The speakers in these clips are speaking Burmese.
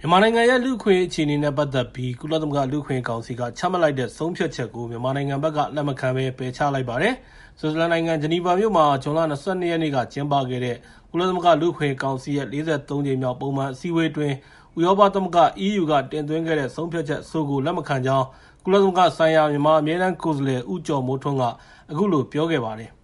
မြန်မာနိုင်ငံရဲ့ လူ့အခွင့်အရေးအခြေအနေနဲ့ ပတ်သက်ပြီး ကုလသမဂ္ဂလူ့အခွင့်အရေးကောင်စီက ချမှတ်လိုက်တဲ့ ဆုံးဖြတ်ချက်ကို မြန်မာနိုင်ငံဘက်က လက်မခံပယ်ချလိုက်ပါတယ်။ ဆွစ်ဇာလန်နိုင်ငံ ဂျနီဗာမြို့ မှာ ဇွန်လ ၂၂ ရက်နေ့က ကျင်းပခဲ့တဲ့ ကုလသမဂ္ဂ လူ့အခွင့်အရေးကောင်စီရဲ့ ၄၃ ကြိမ်မြောက် ပုံမှန်အစည်းအဝေးအတွင်း ဥရောပသမဂ္ဂ (EU) က တင်သွင်းခဲ့တဲ့ ဆုံးဖြတ်ချက်အဆိုကို လက်မခံကြောင်း ကုလသမဂ္ဂဆိုင်ရာ မြန်မာအမြဲတမ်း ကိုယ်စားလှယ် ဦးကျော်မိုးထွန်းက အခုလို ပြောပါတယ်။ “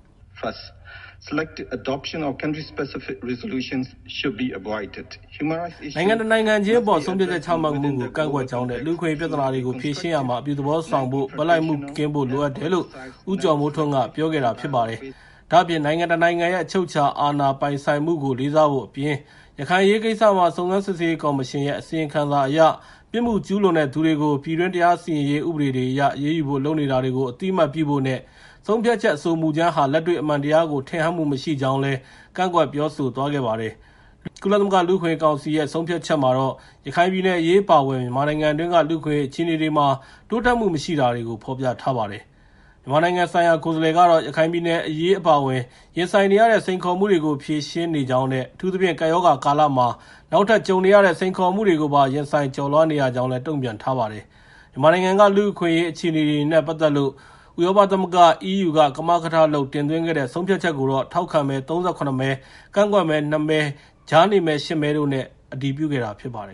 နိုင်ငံတနိုင်ငံခြင်းအပေါ် ဆုံးဖြတ်ချက် ချမှတ်မှုကို ကန့်ကွက်ကြောင်းနဲ့ လူ့အခွင့်အရေး ပြဿနာတွေကို ဖြေရှင်းရာမှာ အပြုသဘောဆောင်ဖို့ ဘက်လိုက်မှုကင်းဖို့တွေ လိုအပ်တယ်” လို့ ဦးကျော်မိုးထွန်းက ပြောခဲ့တာပါ။ ဒါ့အပြင် နိုင်ငံတနိုင်ငံရဲ့ အချုပ်အခြာအာဏာပိုင်ဆိုင်မှုကို လေးစားဖို့အပြင်၊ ရခိုင်အရေးကိစ္စမှာ စုံစမ်းစစ်ဆေးရေးကော်မရှင်ရဲ့အစီရင်ခံစာအရ ပြစ်မှုကျူးလွန်တဲ့သူတွေကို ပြည်တွင်း တရားစီရင်ရေး ဥပဒေတွေအရ အရေးယူဖို့လုပ်နေတာကို အသိအမှတ်ပြုဖို့ နဲ့ ဆုံးဖြတ်ချက် အဆိုမူကြမ်းဟာ လက်တွေ့အမှန်တရားကို ထင်ဟပ်မှုမရှိကြောင်းလည်း ကန့်ကွက်ပြောဆိုသွားခဲ့ပါတယ်။ ကုလသမဂ္ဂလူ့အခွင့်အရေးကောင်စီရဲ့ ဆုံးဖြတ်ချက်မှာတော့ ရခိုင်ပြည်နယ်အရေး အပါအဝင် မြန်မာနိုင်ငံတွင်းက လူ့အခွင့်အရေး အခြေအနေတွေမှာ တိုးတက်မှုမရှိတာတွေကို ဖော်ပြထားပါတယ်။ မြန်မာနိုင်ငံဆိုင်ရာ ကိုယ်စားလှယ်ကတော့ ရခိုင်ပြည်နယ် အရေး အပါအဝင် ရင်ဆိုင်နေရတဲ့ စိန်ခေါ်မှုတွေကို ဖြေရှင်းနေကြောင်းနဲ့ အထူးသဖြင့် ကပ်ရောဂါကာလမှာ နောက်ထပ်ကြုံနေရတဲ့ စိန်ခေါ်မှုတွေကိုပါ ရင်ဆိုင်ကျော်လွှားနေရကြောင်းလည်း တုံ့ပြန်ထားပါတယ်။ မြန်မာနိုင်ငံက လူ့အခွင့်အရေး အခြေအနေတွေနဲ့ ပတ်သက်လို့ ဥရောပသမဂ္ဂ (EU) က ကမကထလုပ် တင်သွင်းခဲ့တဲ့ ဆုံးဖြတ်ချက်ကိုတော့ ထောက်ခံမဲ ၃၇ မဲ၊ ကန့်ကွက်မဲ ၂ မဲနဲ့ ကြားနေမဲ ၈ မဲတို့နဲ့ အတည်ပြုခဲ့တာ ဖြစ်ပါတယ်